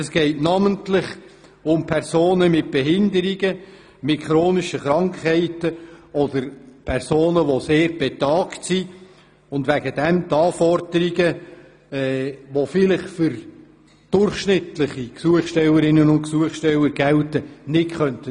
Es geht namentlich um Personen mit Behinderungen, mit chronischen Krankheiten oder um sehr betagte Personen, welche die Anforderungen, wie sie für durchschnittliche Gesuchstellerinnen und Gesuchsteller gelten, nicht erfüllen könnten.